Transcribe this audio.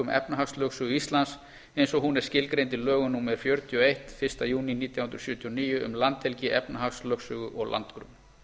efnahagslögsögu íslands eins og hún er skilgreind í lögum númer fjörutíu og eitt fyrsta júní nítján hundruð sjötíu og níu um landhelgi efnahagslögsögu og landgrunn